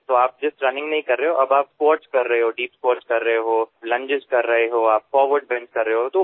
আপুনি কেৱল দৌৰাই নহয়আৰু যেতিয়া আপুনি স্কোৱাৰ্ট কৰে ডীপ স্কোৱাৰ্ট কৰে আপুনি লাংগেছ কৰে ফৰৱাৰ্ড বেণ্ট কৰে